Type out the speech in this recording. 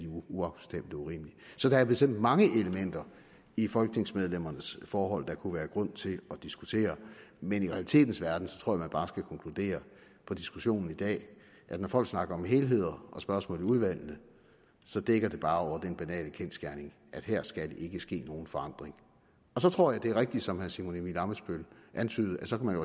og urimeligt så der er bestemt mange elementer i folketingsmedlemmernes forhold der kunne være grund til at diskutere men i realitetens verden tror jeg at man bare skal konkludere på diskussionen i dag at når folk snakker om helheder og spørgsmål i udvalgene så dækker det bare over den banale kendsgerning at her skal der ikke ske nogen forandring og så tror jeg det er rigtigt som herre simon emil ammitzbøll antydede at så kunne